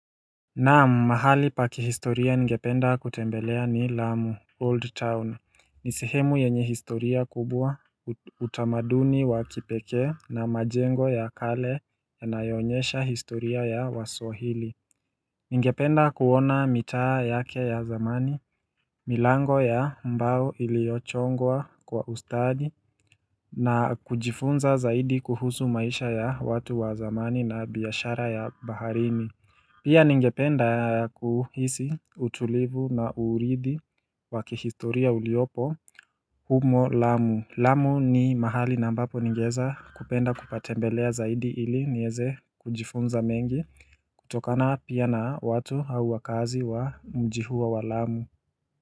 Naam mahali pa kihistoria ningependa kutembelea ni Lamu Old Town ni sehemu yenye historia kubwa utamaduni wa kipekee na majengo ya kale yanayoonyesha historia ya waswahili ningependa kuona mitaa yake ya zamani, milango ya mbao iliochongwa kwa ustadi na kujifunza zaidi kuhusu maisha ya watu wa zamani na biashara ya baharini Pia ningependa kuhisi utulivu na uuridhi wa kihistoria uliopo humo lamu. Lamu ni mahali na ambapo ningeeza kupenda kupatembelea zaidi ili nieze kujifunza mengi kutokana pia na watu au wakaazi wa mji huo wa lamu.